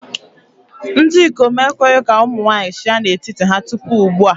Ndị ikom ekweghị ka ụmụ nwanyị chịa n'etiti ha tupu ugbu a.